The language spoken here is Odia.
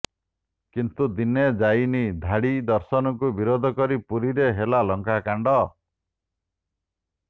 କିନ୍ତୁ ଦିନେ ଯାଇନି ଧାଡ଼ି ଦର୍ଶନକୁ ବିରୋଧ କରି ପୁରୀରେ ହେଲା ଲଙ୍କାକାଣ୍ଡ